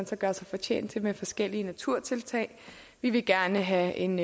så gøre sig fortjent til via forskellige naturtiltag vi vil gerne have en